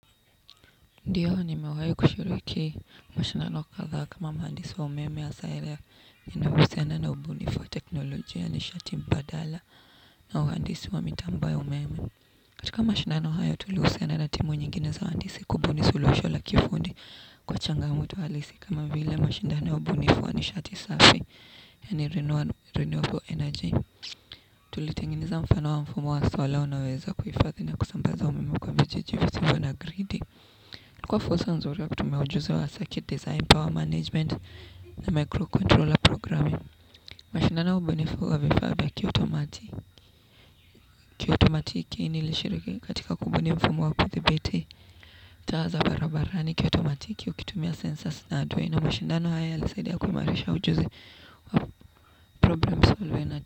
Ndiyo, nimewahi kushiruki mashindano kadhaa kama mhandisi wa umeme hasaa area inayohusiana na ubunifu wa teknolojia nishati mbadala na uhandisi wa mitambo ya umeme. Katika mashindano hayo, tulihusiana na timu nyingine za wahandisi kubuni suluhisho la kiufundi kwa changamoto halisi kama vile mashindano ya ubunifu wa nishati safi yaani renewable energy. Tulitengeneza mfano wa mfumo wa solar unaoweza kuhifadhi na kusambaza umeme kwa vijiji visivyo na gridi. Ilikuwa fursa nzuri wa kutumia ujuzi wa circuit design, power management na microcontroller programming. Mashindano ya ubunifu wa vifaa vya kiotomatiki. Kiotomatiki niilishiriki katika kubuni mfumo wa kuthibiti taa za barabarani kiotomatiki ukitumia sensors na aduwe. Na mashindano haya yalisaidia kuimarisha ujuzi wa problem solving.